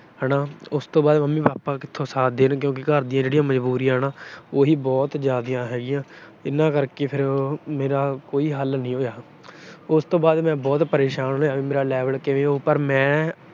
ਹਨਾ। ਉਸ ਤੋਂ ਬਾਅਦ ਮੰਮੀ-ਪਾਪਾ ਕਿੱਥੋਂ ਸਾਥ ਦੇਣਗੇ ਕਿਉਂਕਿ ਜਿਹੜੀਆਂ ਘਰ ਦੀਆਂ ਮਜਬੂਰੀਆਂ ਹਨਾ, ਉਹੀ ਬਹੁਤ ਜਿਆਦਾ ਹੈਗੀਆ। ਇਹਨਾਂ ਕਰਕੇ ਮੇਰਾ ਕੋਈ ਹੱਲ ਨੀ ਹੋਇਆ। ਉਸ ਤੋਂ ਬਾਅਦ ਮੈਂ ਬਹੁਤ ਪਰੇਸ਼ਾਨ ਰਿਹਾ ਵੀ ਮੇਰਾ level ਕਿਵੇਂ ਹੋਊ ਪਰ ਮੈਂ